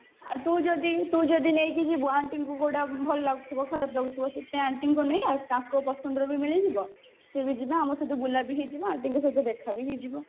ଆଉ ତୁ ଯଦି ତୁ ଯଦି ନେଇକି ଯିବୁ କୁଆଡେ ଭଲ ଲାଗୁଥିବା ଖରାପ ଲାଗୁଥିବ ସେଥିପାଇଁ aunty ଙ୍କୁ ନେଇଆସ ତାଙ୍କ ପସନ୍ଦର ବି ମିଳିଯିବ ସେ ବି ଯିବେ ଆମ ସହିତ ବୁଲା ବି ହେଇଯିବ ଆଉ ଟିକେ ତାଙ୍କ ସହିତ ଦେଖା ବି ହେଇଯିବ